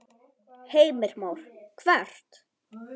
Heimir Már: Hvert?